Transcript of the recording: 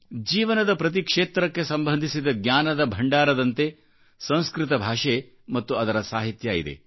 ಜೀವನದ ಪ್ರತಿ ಕ್ಷೇತ್ರಕ್ಕೆ ಸಂಬಂಧಿಸಿದ ಜ್ಞಾನದ ಭಂಡಾರದಂತೆ ಸಂಸ್ಕೃತ ಭಾಷೆ ಮತ್ತು ಅದರ ಸಾಹಿತ್ಯವಿದೆ